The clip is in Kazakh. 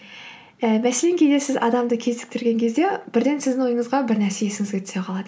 і мәселен кейде сіз адамды кезіктірген кезде бірден сіздің ойыңызға бірнәрсе есіңізге түсе қалады